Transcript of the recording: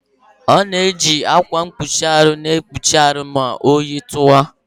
A na-eji ákwà mkpuchi ahụ ekpuchi ahụ ma oyi tụwa.